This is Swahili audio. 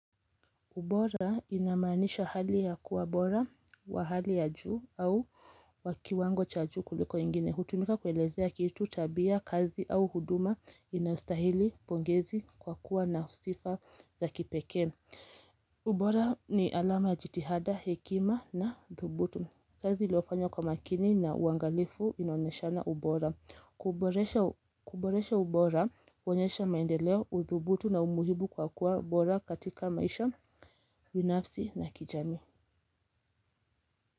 Ubora inamanisha hali ya kuwa bora wa hali ya juu au wa kiwango cha juu kuliko ingine. Hutumika kuelezea kitu, tabia, kazi au huduma inayostahili pongezi kwa kuwa na sifa za kipekee. Ubora ni alama jitihada, hekima na dhubutu. Kazi iliofanya kwa makini na uangalifu inaonyeshana ubora. Kuboresha ubora, huonyesha maendeleo, udhubutu na umuhimu kwa kuwa bora katika maisha binafsi na kijamii.